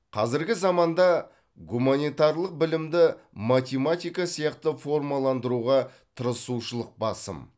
қазіргі заманда гуманитарлық білімді математика сияқты формаландыруға тырысушылық басым